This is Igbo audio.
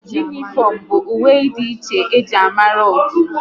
Unịfomu bụ uwe dị iche e ji amara otu